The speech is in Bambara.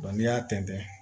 n'i y'a tɛntɛn